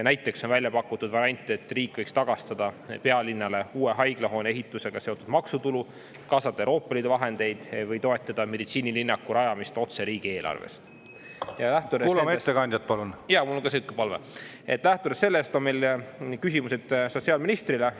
Näiteks on välja pakutud variant, et riik võiks tagastada pealinnale uue haiglahoone ehitusega seotud maksutulu, kaasata Euroopa Liidu vahendeid või toetada meditsiinilinnaku rajamist otse riigieelarvest , ja lähtudes … jaa, mul on siuke palve …, et lähtudes sellest on meil küsimused sotsiaalministrile.